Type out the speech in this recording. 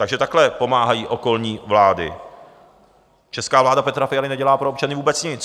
Takže takhle pomáhají okolní vlády, česká vláda Petra Fialy nedělá pro občany vůbec nic.